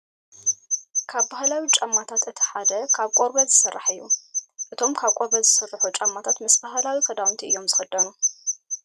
ካብ ባህላዊ ጫማታት እቲ ሓደ ካብ ቆርበት ዝስራሕ እዩ። እቶም ካብ ቆርበት ዝስርሑ ጫማታት ምስ ባህላዊ ክዳውንቲ እዮም ዝኽደኑ ።